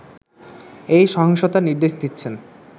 এই সহিংসতার নির্দেশ দিচ্ছেন